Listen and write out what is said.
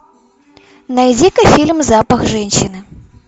найди ка фильм запах женщины